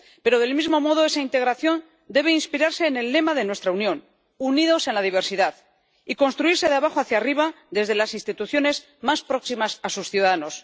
Pero del mismo modo esa integración debe inspirarse en el lema de nuestra Unión —Unida en la diversidad― y construirse de abajo hacia arriba desde las instituciones más próximas a sus ciudadanos.